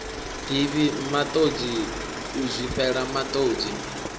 divhi matodzi u zwifhela matodzi